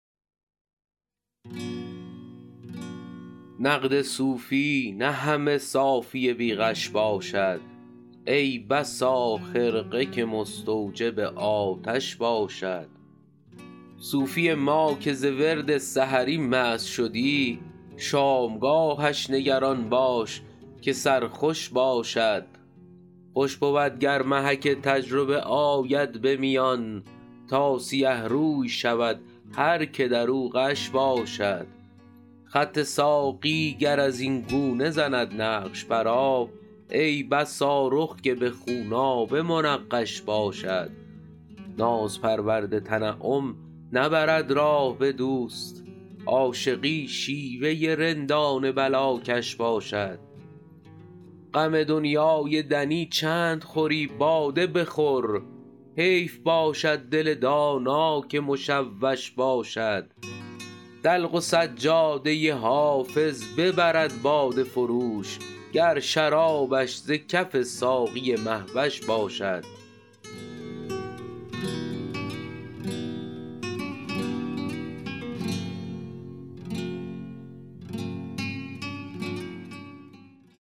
نقد صوفی نه همه صافی بی غش باشد ای بسا خرقه که مستوجب آتش باشد صوفی ما که ز ورد سحری مست شدی شامگاهش نگران باش که سرخوش باشد خوش بود گر محک تجربه آید به میان تا سیه روی شود هر که در او غش باشد خط ساقی گر از این گونه زند نقش بر آب ای بسا رخ که به خونآبه منقش باشد ناز پرورد تنعم نبرد راه به دوست عاشقی شیوه رندان بلاکش باشد غم دنیای دنی چند خوری باده بخور حیف باشد دل دانا که مشوش باشد دلق و سجاده حافظ ببرد باده فروش گر شرابش ز کف ساقی مه وش باشد